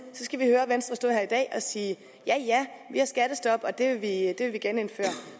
skal vi høre venstre stå her i dag og sige ja ja vi har skattestop og det vil vi genindføre